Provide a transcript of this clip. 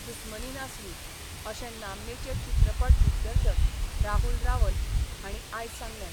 दुस्मनी नासली, अशें नामनेचे चित्रपट दिग्दर्शक राहुल रावल हांणी आयज सांगलें.